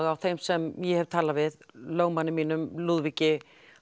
á þeim sem ég hef talað við í lögmanni mínum Lúðvíki